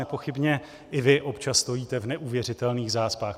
Nepochybně i vy občas stojíte v neuvěřitelných zácpách.